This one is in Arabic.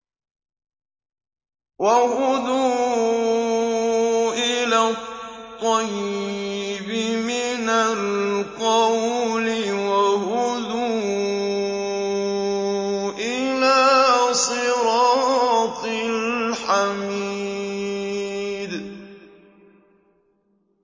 وَهُدُوا إِلَى الطَّيِّبِ مِنَ الْقَوْلِ وَهُدُوا إِلَىٰ صِرَاطِ الْحَمِيدِ